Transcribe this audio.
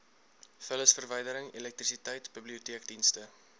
vullisverwydering elektrisiteit biblioteekdienste